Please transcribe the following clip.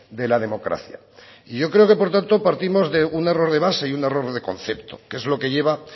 de la democracia y yo creo que por tanto partimos de un error de base y un error de concepto que es lo que lleva